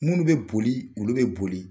Minnu bɛ boli olu bɛ boli.